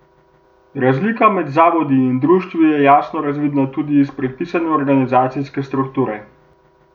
Razlika med zavodi in društvi je jasno razvidna tudi iz predpisane organizacijske strukture.